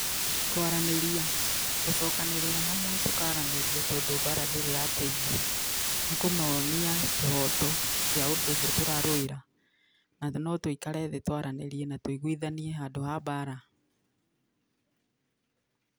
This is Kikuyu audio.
Kũaranĩria, gũcokanĩrĩra hamwe, tũkaranĩria tondũ mbara ndĩrĩ yateithia , nĩkũmonia kĩhoto kĩa ũndũ ũcio tũrarũĩra. Na thĩ no tũĩkare thĩ tũaranĩrie na tũigwithanie handũ ha mbaara.